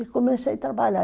E comecei a trabalhar.